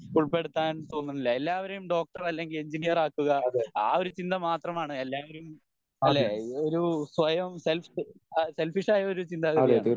ഉൾപെടുത്താൻ തോന്നുന്നില്ല എല്ലാവരേം ഡോക്ടർ അല്ലെങ്കി എഞ്ചിനീയർ ആക്കുക ആ ഒരു ചിന്ത മാത്രമാണ് എല്ലാവരും അല്ലെ ഒരു സ്വയം സെല്ഫ് സെൽഫിഷായൊരു ചിന്താഗതിയാണ്